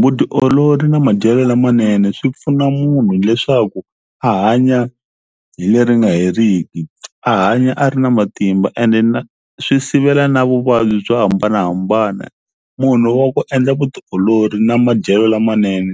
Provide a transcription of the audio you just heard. Vutiolori na madyele lamanene swi pfuna munhu leswaku a hanya hi leri nga heriki a hanya a ri na matimba ene na swi sivela na vuvabyi byo hambanahambana munhu wa ku endla vutiolori na madyelo lamanene